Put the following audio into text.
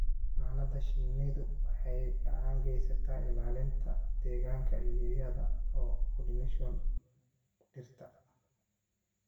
Xannaanada shinnidu waxay gacan ka geysataa ilaalinta deegaanka iyada oo pollination dhirta.